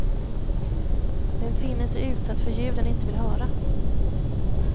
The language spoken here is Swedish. Den finner sig utsatt för ljud den inte vill höra.